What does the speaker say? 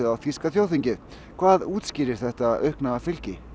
þýska þjóðþingsins hvað útskýrir þetta aukna fylgi